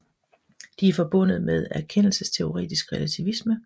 De er forbundet med erkendelsesteoretisk relativisme